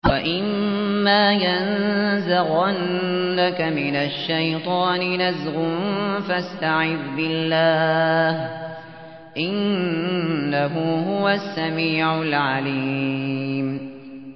وَإِمَّا يَنزَغَنَّكَ مِنَ الشَّيْطَانِ نَزْغٌ فَاسْتَعِذْ بِاللَّهِ ۖ إِنَّهُ هُوَ السَّمِيعُ الْعَلِيمُ